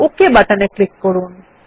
okay বাটনে click করুন